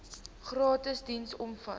gratis diens omvat